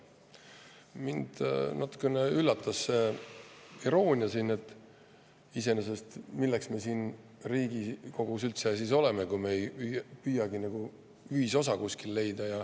Mind natukene üllatas see iroonia, sest iseenesest, milleks me siin Riigikogus siis üldse oleme, kui me ei püüagi kuskil ühisosa leida.